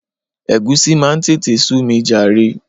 Egusi máa ń tètè sú mi jàre.